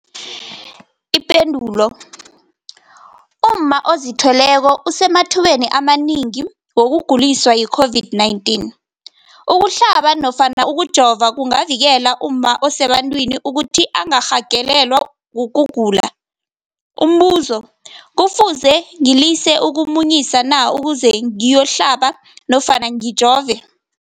Ipendulo, umma ozithweleko usemathubeni amanengi wokuguliswa yi-COVID-19. Ukuhlaba nofana ukujova kungavikela umma osebantwini ukuthi angarhagalelwa kugula. Umbuzo, kufuze ngilise ukumunyisa na ukuze ngiyokuhlaba nofana ngiyokujova?